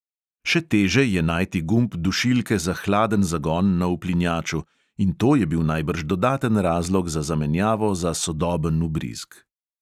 Še teže je najti gumb dušilke za hladen zagon na uplinjaču in to je bil najbrž dodaten razlog za zamenjavo za sodoben vbrizg.